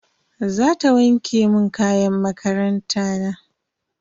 Zata wanke mun kayan makaranta na.